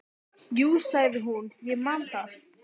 Jú, sagði hún, ég man það.